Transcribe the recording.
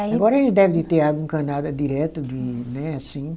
Agora eles deve de ter água encanada direto de, né, assim.